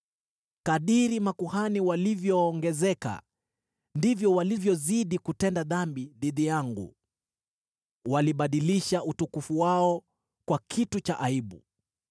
Kadiri makuhani walivyoongezeka, ndivyo walivyozidi kutenda dhambi dhidi yangu, walibadilisha utukufu wao kwa kitu cha aibu.